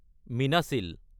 মীনাছিল